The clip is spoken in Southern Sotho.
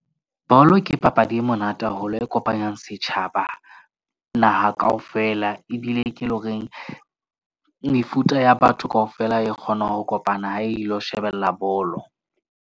Bolo ke papadi e monate haholo e kopanyang setjhaba naha kaofela. Ebile ke le horeng mefuta ya batho kaofela e kgona ho kopana ha ilo shebella bolo.